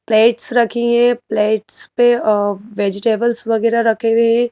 Plates रखी हैं plates पे अ वेजिटेबल्स वगैरह रखे हुए हैं।